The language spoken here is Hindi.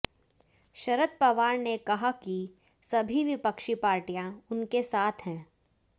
शरद पवार ने कहा कि सभी विपक्षी पार्टियां उनके साथ हैं